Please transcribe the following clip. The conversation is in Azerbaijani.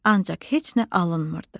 Ancaq heç nə alınmırdı.